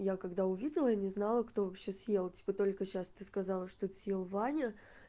я когда увидела я не знала кто вообще съел типа только сейчас ты сказала что съел ваня